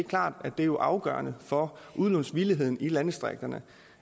klart at det er afgørende for udlånsvilligheden i landdistrikterne